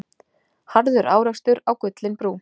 Harður árekstur á Gullinbrú